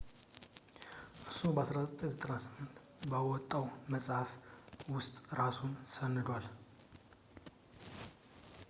እሱ በ1998 በወጣው መፅሐፍ ውስጥ እራሱን ሰንዷል